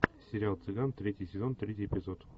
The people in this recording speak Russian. сериал цыган третий сезон третий эпизод